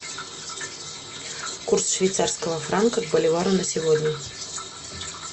курс швейцарского франка к боливару на сегодня